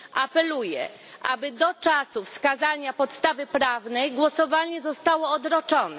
Apeluję, aby do czasu wskazania podstawy prawnej głosowanie zostało odroczone.